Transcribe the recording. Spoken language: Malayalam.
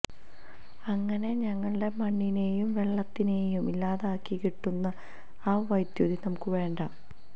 അങ്ങനെ ഞങ്ങടെ മണ്ണിനെയും വെള്ളത്തിനെയും ഇല്ലാതാക്കി കിട്ടുന്ന ആ വൈദ്യുതി നമുക്ക് വേണ്ട